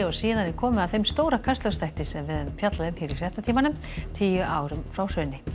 síðan er komið að þeim stóra Kastljóssþætti sem við höfum fjallað um hér í fréttatímanum tíu árum frá hruni